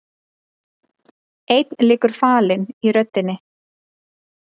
Einn liggur falinn í röddinni.